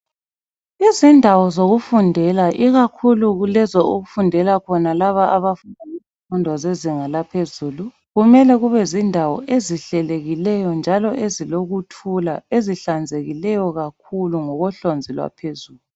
Izindawo zokufundela ikakhulu kulezo okufundela khona laba abenza izifundo zezinga laphezulu kumele kube zindawo ezihlelekileyo njalo ezilokuthula, ezihlanzekileyo kakhulu ngokohlonzi lwaphezulu.